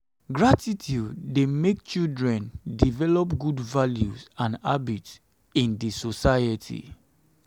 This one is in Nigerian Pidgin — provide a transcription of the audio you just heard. gratitude dey make children develop good values and habits in the society.